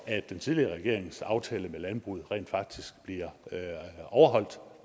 at den tidligere regerings aftale med landbruget rent faktisk bliver overholdt